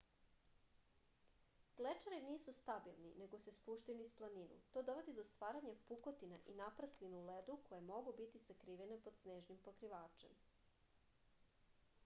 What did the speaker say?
glečeri nisu stabilni nego se spuštaju niz planinu to dovodi do stvaranja pukotina i naprslina u ledu koje mogu biti sakrivene pod snežnim pokrivačem